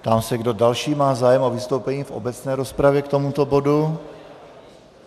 Ptám se, kdo další má zájem o vystoupení v obecné rozpravě k tomuto bodu.